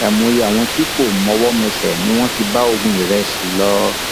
àìmọye àwọn tí kò mọwọmẹsẹ ni wọn ti bá ogún ìrẹsì lọ